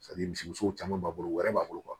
misi musow caman b'a bolo wɛrɛ b'a bolo